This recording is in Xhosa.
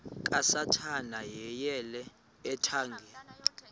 kasathana yeyele ethangeni